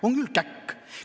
On küll käkk!